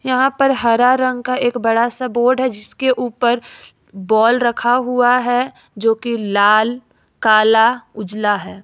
यहां पर हरा रंग का एक बड़ा सा बोर्ड है जिसके ऊपर बॉल रखा हुआ है जोकि लाल काला उजला है।